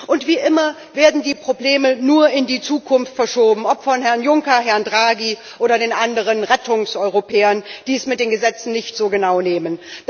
Und wie immer werden die Probleme nur in die Zukunft verschoben, ob von Herrn Juncker, Herrn Draghi oder den anderen Rettungseuropäern, die es mit den Gesetzen nicht so genau nehmen.